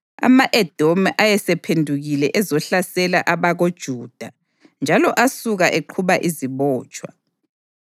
Ama-Edomi ayesephendukile ezohlasela abakoJuda njalo asuka eqhuba izibotshwa,